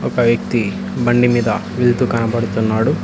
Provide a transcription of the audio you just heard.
ఒక వ్యక్తి బండిమీద వెళ్తూ కనబడుతున్నాడు.